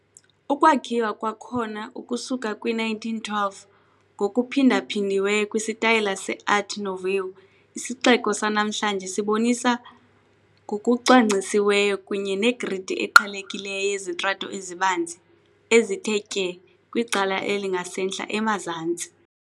Ukwakhiwa kwakhona ukusuka kwi-1912, ngokuphindaphindiweyo kwisitayela se-Art Nouveau, isixeko sanamhlanje sibonisa ngokucwangcisiweyo kunye negridi eqhelekileyo yezitrato ezibanzi, ezithe tye kwicala elingasentla-emazantsi.